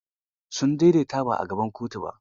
Sun daidaita ba a gaban kotun ba?